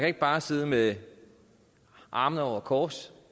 ikke bare sidde med armene over kors